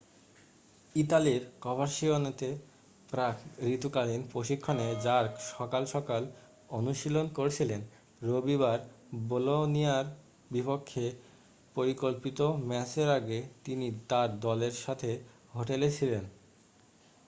ইতালির কভারসিয়ানোতে প্রাক-ঋতুকালীন প্রশিক্ষণে জার্ক সকাল সকাল অনুশীলন করছিলেন রবিবার বলোনিয়ার বিপক্ষে পরিকল্পিত ম্যাচের আগে তিনি তার দলের সাথে হোটেলে ছিলেন